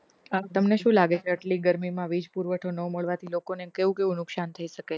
આ તમને શુ લાગે કે આટલી ગરમી માં વીજ પુરવઠો ન મળવાથી લોકો ને કેવું કેવું નુકશાન થઇ શકે છે